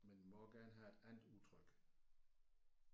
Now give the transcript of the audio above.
Men må også gerne have et andet udtryk